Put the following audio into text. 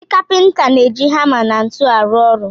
Ndi kapịnta na-eji hama na ntu arụ ọrụ.